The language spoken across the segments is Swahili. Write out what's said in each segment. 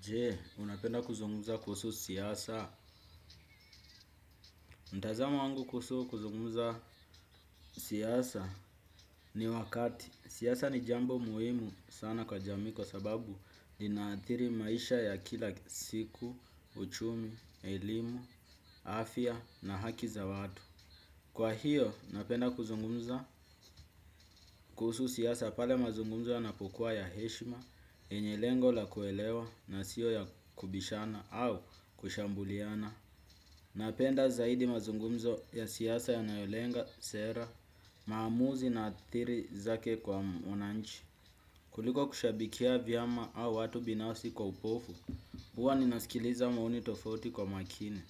Jee, unapenda kuzungumza kuhusu siasa. Ntazamo wangu kuusu kuzungumza siasa ni wakati. Siasa ni jambo muhimu sana kwa jamii kwa sababu inaathiri maisha ya kila siku, uchumi, elimu, afya na haki za watu. Kwa hiyo, napenda kuzungumuza kuusu siasa pale mazungumzo yanapokuwa ya heshima, yenye lengo la kuelewa na sio ya kubishana au kushambuliana. Napenda zaidi mazungumzo ya siasa yanayolenga sera, maamuzi na aathiri zake kwa mwananchi. Kuliko kushabikia vyama au watu binasi kwa upofu, huwa ninasikiliza maoni tofauti kwa makini.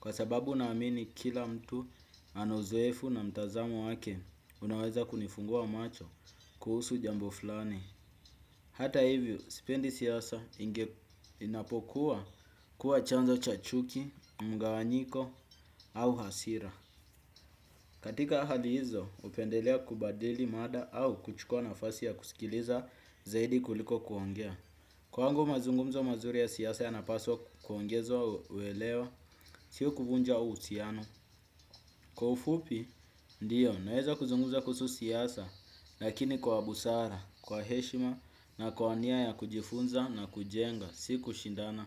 Kwa sababu naamini kila mtu ana uzoefu na mtazamo wake unaweza kunifungua macho kuhusu jambo flani. Hata hivyo, sipendi siasa inapokuwa kuwa chanzo chachuki, mgawanyiko au hasira. Katika hali hizo, upendelea kubadili mada au kuchukua nafasi ya kusikiliza zaidi kuliko kuongea. Kwangu mazungumzo mazuri ya siasa yanapaswa kuongeza uelewa, sio kuvunja uhusiano. Kwa ufupi, ndiyo, naweza kuzungumza kuusu siasa, lakini kwa busara, kwa heshima na kwa nia ya kujifunza na kujenga, si kushindana.